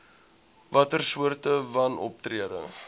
watter soorte wanoptrede